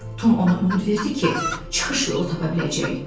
Tom ona ümid verdi ki, çıxış yolu tapa biləcək.